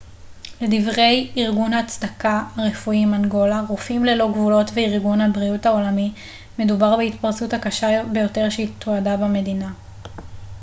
לדברי ארגון הצדקה הרפואי מנגולה רופאים ללא גבולות וארגון הבריאות העולמי מדובר בהתפרצות הקשה ביותר שתועדה במדינה